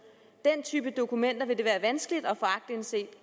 den type dokumenter vil det være vanskeligt at få aktindsigt